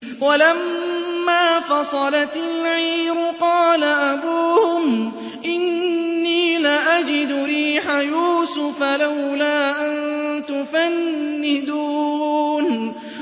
وَلَمَّا فَصَلَتِ الْعِيرُ قَالَ أَبُوهُمْ إِنِّي لَأَجِدُ رِيحَ يُوسُفَ ۖ لَوْلَا أَن تُفَنِّدُونِ